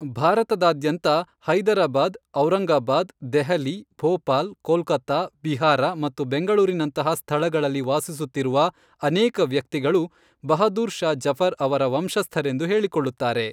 ಭಾರತದಾದ್ಯಂತ ಹೈದರಾಬಾದ್, ಔರಂಗಾಬಾದ್, ದೆಹಲಿ, ಭೋಪಾಲ್, ಕೋಲ್ಕತಾ, ಬಿಹಾರ ಮತ್ತು ಬೆಂಗಳೂರಿನಂತಹ ಸ್ಥಳಗಳಲ್ಲಿ ವಾಸಿಸುತ್ತಿರುವ ಅನೇಕ ವ್ಯಕ್ತಿಗಳು ಬಹಾದುರ್ ಷಾ ಜಫರ್ ಅವರ ವಂಶಸ್ಥರೆಂದು ಹೇಳಿಕೊಳ್ಳುತ್ತಾರೆ.